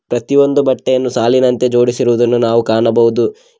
ಪ್ರತಿಯೊಂದು ಬಟ್ಟೆಯನ್ನು ಸಾಲಿನಂತೆ ಜೋಡಿಸಿ ಇರುವುದನ್ನು ನಾವು ಕಾಣಬಹುದು.